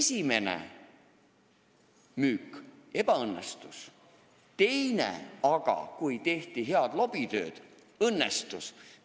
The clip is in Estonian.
Esimene müük ebaõnnestus, aga tehti head lobitööd ja teine müük õnnestus.